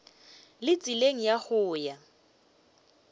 le tseleng ya go ya